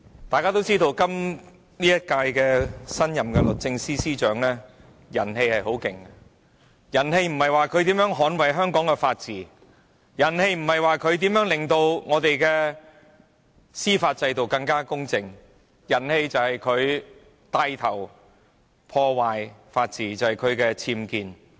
大家也知道，今屆政府的新任律政司司長人氣甚盛，此話所指的並不是她如何捍衞香港的法治，如何令香港的司法制度更加公正，而是指她牽頭破壞法治，因為她涉及僭建事件。